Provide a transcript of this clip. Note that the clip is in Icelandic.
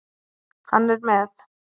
Hann er með